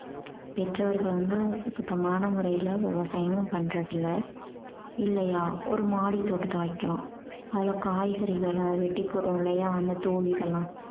பெற்றோர்கள் வந்து சுத்தமான முறையில விவசாயம் பண்றது இல்ல இல்லையா ஒரு மாடி தோட்டத்தை வைக்கலாம் அதுல காய்கறிகளை வெட்டி போடறோம் இல்லையா அந்த தோல் இதெல்லாம்